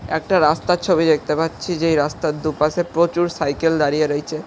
একটা রাস্তার ছবি দেখতে পাচ্ছি যেই রাস্তার দুপাশে প্রচুর সাইকেল দাঁড়িয়ে রয়েছে।